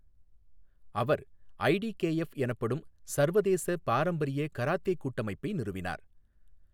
அவர் ITKF எனப்படும் சர்வதேச பாரம்பரிய கராத்தே கூட்டமைப்பை நிறுவினார்.